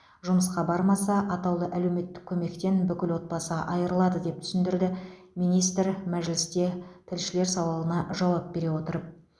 жұмысқа бармаса атаулы әлеуметтік көмектен бүкіл отбасы айырылады деп түсіндірді министр мәжілісте тілшілер сауалына жауап бере отырып